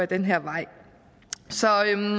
den her vej så